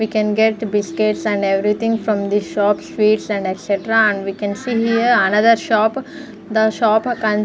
we can get biscuits and everything from the shop sweets and etc and we can see here another shop the shop con --